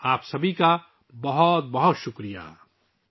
آپ سب کا بہت شکریہ!